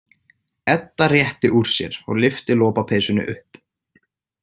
Edda rétti úr sér og lyfti lopapeysunni upp.